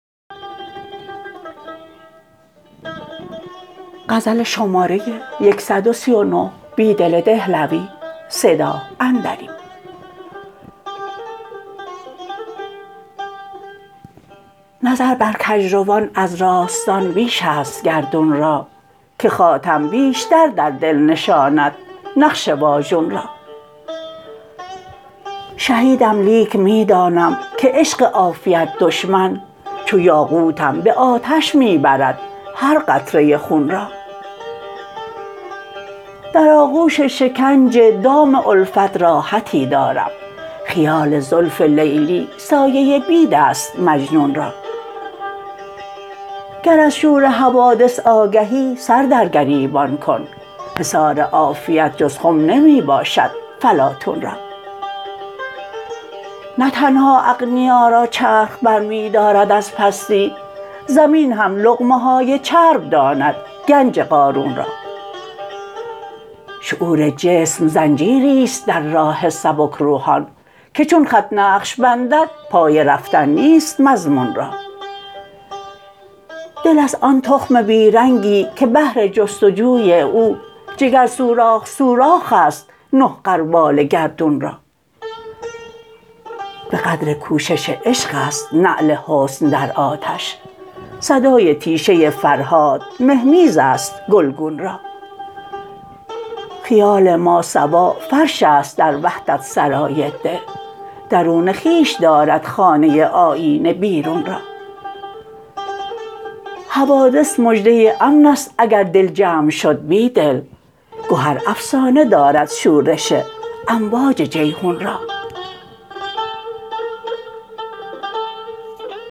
نظر بر کج روان از راستان بیش است گردون را که خاتم بیشتر در دل نشاند نقش واژون را شهیدم لیک می دانم که عشق عافیت دشمن چو یاقوتم به آتش می برد هر قطره خون را در آغوش شکنج دام الفت راحتی دارم خیال زلف لیلی سایه بید است مجنون را گر از شور حوادث آگهی سر در گریبان کن حصار عافیت جز خم نمی باشد فلاطون را نه تنها اغنیا را چرخ برمی دارد از پستی زمین هم لقمه های چرب داند گنج قارون را شعور جسم زنجیری ست در راه سبک روحان که چون خط نقش بندد پای رفتن نیست مضمون را دل است آن تخم بی رنگی که بهر جستجوی او جگر سوراخ سوراخ است نه غربال گردون را به قدر کوشش عشق ست نعل حسن در آتش صدای تیشه فرهاد مهمیز است گلگون را خیال ماسوا فرش است در وحدت سرای دل درون خویش دارد خانه آیینه بیرون را حوادث مژده امن است اگر دل جمع شد بیدل گهر افسانه داند شورش امواج جیحون را